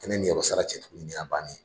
Tɛ ne niyɔrɔ sara cɛ tun nin y'a bannen ye